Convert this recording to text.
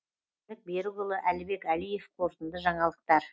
берікұлы әлібек әлиев қорытынды жаңалықтар